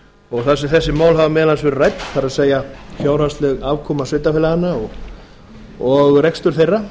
og þar sem þessi mál hafa meðal annars verið rædd það er fjárhagsleg afkoma sveitarfélaganna og rekstur þeirra